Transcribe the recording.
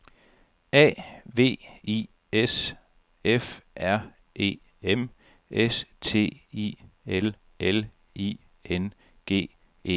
A V I S F R E M S T I L L I N G E N